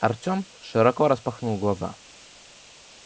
артём широко распахнул глаза